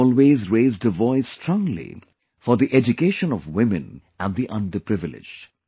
She always raised her voice strongly for the education of women and the underprivileged